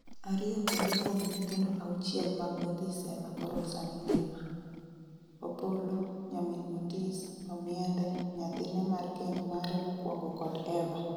ariyo kende kuom nyithindo auchiel mag Othis ema koro sani ngima:Opolo, nyamin Otis; Omiende, nyathine mar keny mare mokwongo kod Eva